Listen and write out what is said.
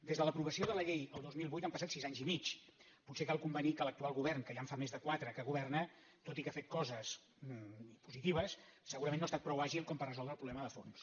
des de l’aprovació de la llei el dos mil vuit han passat sis anys i mig potser cal convenir que l’actual govern que ja en fa més de quatre que governa tot i que ha fet coses positives segurament no ha estat prou àgil per resoldre el problema de fons